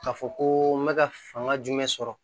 K'a fɔ ko n bɛ ka fanga jumɛn sɔrɔ